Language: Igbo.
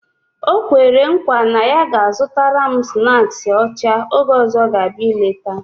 O kwere nkwa na ya ga-azụtara m snikasị ọcha oge ọzọ ọ ga-abịa ileta